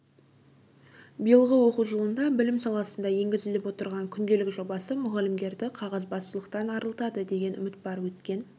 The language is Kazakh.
биылғы оқу жылында білім саласында енгізіліп отырған күнделік жобасы мұғалімдерді қағазбастылықтан арылтады деген үміт бар өткен